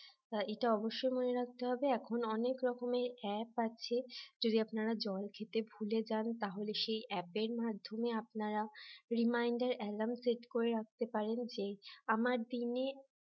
এটা অবশ্যই মনে রাখতে হবে এখন অনেক রকমের app আছে যদি আপনারা জল খেতে ভুলে যান তাহলে সেই অ্যাপের মাধ্যমে আপনারা reminder alarm set করে রাখতে পারেন আমার দিনে